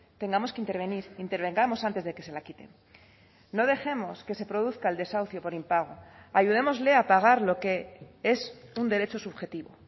tengamos que intervenir intervengamos antes de que se la quiten no dejemos que se produzca el desahucio por impago ayudémosle a pagar lo que es un derecho subjetivo